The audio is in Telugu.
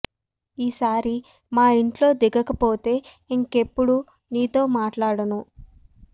ఈ సారి మా ఇంట్లో దిగక పోతే ఇంకెప్పుడూ నీతో మాట్లాడను